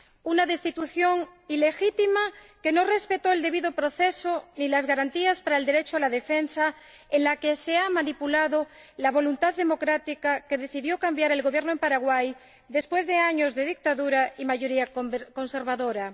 Una destitución ilegítima, que no respetó el debido proceso ni las garantías para el derecho a la defensa, en la que se ha manipulado la voluntad democrática que decidió cambiar el Gobierno en Paraguay después de años de dictadura y mayoría conservadora.